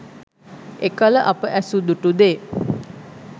එකල අප ඇසූ දුටු දේ